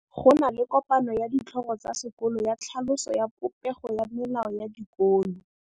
Go na le kopanô ya ditlhogo tsa dikolo ya tlhaloso ya popêgô ya melao ya dikolo.